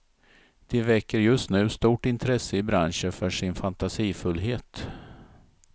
De väcker just nu stort intresse i branschen för sin fantasifullhet.